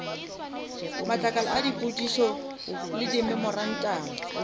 matlakala a dipotšišo le dimemorantamo